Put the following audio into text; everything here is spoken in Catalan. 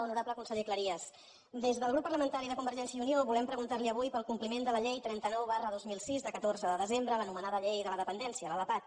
honorable conseller cleries des del grup parlamentari de convergència i unió volem preguntar li avui per al compliment de la llei trenta nou dos mil sis de catorze de desembre l’anomenada llei de la dependència la lapad